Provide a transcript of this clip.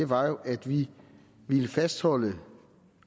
var jo at vi ville fastholde